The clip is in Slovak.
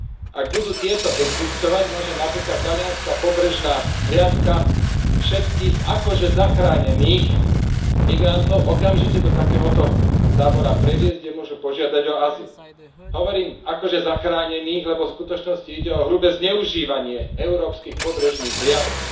Ak budú tieto existovať, môže napríklad talianska pobrežná hliadka všetkých akože zachránených migrantov okamžite do takéhoto tábora previezť, kde môžu požiadať o azyl. Hovorím o akože zachránených, lebo v skutočnosti ide o hrubé zneužívanie európskych pobrežných hliadok.